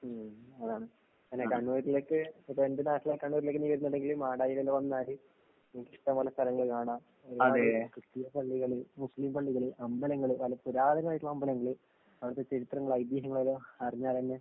ഉം അതാണ്. അതന്നെ കണ്ണൂരിലേക്ക് ഇപ്പെന്റെ നാട്ടിലെ കണ്ണൂരിലേക്ക് നീ വരുന്നുണ്ടെങ്കിലും മാടായില് വന്നാല് നിനക്കിഷ്ടം പോലെ സ്ഥലങ്ങള് കാണാം. ഒരുപാട് ക്രിസ്ത്യൻ പള്ളികള് മുസ്ലിം പള്ളികള് അമ്പലങ്ങള് നല്ല പുരാതനമായിട്ടുള്ള അമ്പലങ്ങള് അവടത്തെ ചരിത്രങ്ങള് ഐതീഹ്യങ്ങളെല്ലാം അറിഞ്ഞാലെന്നെ